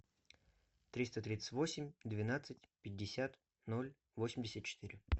триста тридцать восемь двенадцать пятьдесят ноль восемьдесят четыре